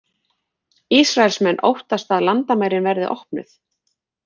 Ísraelsmenn óttast að landamærin verði opnuð